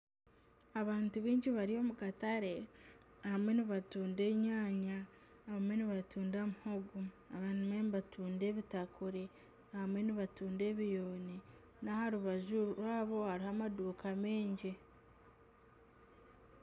Abantu baingi bari omu katare abamwe nibatunda enyanya abamwe nibatunda muhogo abamwe nibatunda ebitakuri abamwe nibatunda ebiyooni n'aha rubaju rwabo hariho amaduuka maingi.